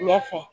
Ɲɛ fɛ